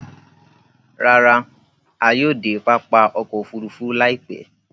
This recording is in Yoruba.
Ràrà, à yóò de pápá ọkọ̀ òfurufú láìpẹ̀